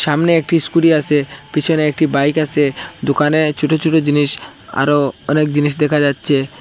সামনে একটি স্কুটি আসে পিছনে একটি বাইক আসে দোকানে ছোট ছোট জিনিস আরো অনেক জিনিস দেখা যাচ্ছে।